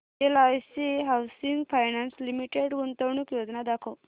LIC housing finance limited गुंतवणूक योजना दाखव